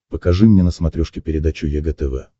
покажи мне на смотрешке передачу егэ тв